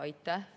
Aitäh!